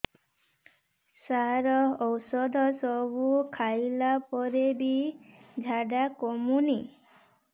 ସାର ଔଷଧ ସବୁ ଖାଇଲା ପରେ ବି ଝାଡା କମୁନି